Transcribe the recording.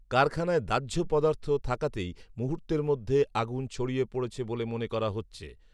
কারখানায় দাহ্য পদার্থ থাকাতেই মুূহর্তের মধ্যে আগুন ছড়িয়ে পড়েছে বলে মনে করা হচ্ছে